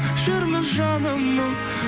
жүрмін жаным мұң